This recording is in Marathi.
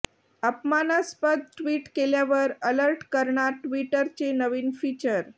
अपमानास्पद ट्विट केल्यावर अलर्ट करणार ट्विटरचे नवीन फीचर